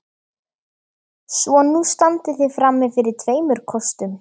Svo nú standið þið frammi fyrir tveimur kostum.